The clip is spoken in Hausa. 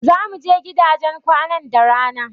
Zamu je gidajen kwanan da rana.